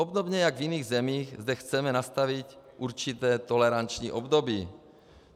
Obdobně jako v jiných zemích zde chceme nastavit určité toleranční období.